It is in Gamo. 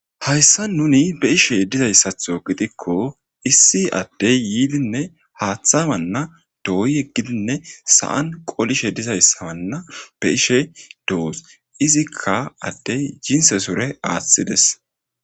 Hayssa nuuni be'she dizayssatho gidikko issi adde yidinne haathawanna dooyi yeggidinne sa'an qolishe dizaysawanna be'she de'oos izikka adde jinse sure aathides.